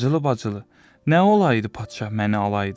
Bacılı bacılı, nə olaydı padşah məni alaydı.